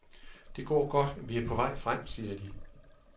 Det går godt, vi er på vej frem, siger de.